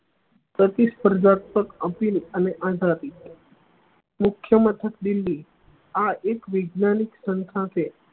અને મુખ્ય મથક દિલ્લી આ એક વિજ્ઞાનિક સંસ્થા છે